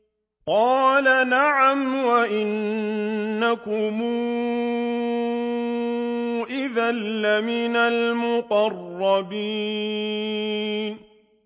قَالَ نَعَمْ وَإِنَّكُمْ إِذًا لَّمِنَ الْمُقَرَّبِينَ